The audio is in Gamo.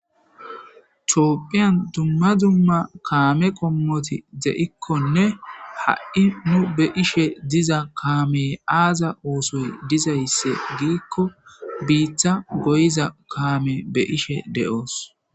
Tophphiyan dumma dumma kaame qommoti deikkonne ha7i mu be ishe diza kaamey aaza uusuy dizaysse giikko biita goyiza kaame be ishe de7oos.